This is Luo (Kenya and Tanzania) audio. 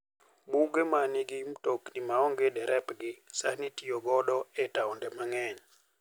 Buge ma nigi mtokni maonge derepgi sani itiyo godo e taonde mang'eny.